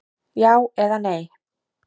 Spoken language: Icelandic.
Já eða nei!